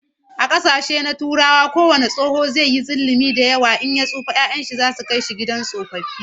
A kasashen Turawa kowane tsoho zai yi zullumin in ya tsufa da yawa, 'ya'yan sa su Kai shi gidan tsofaffi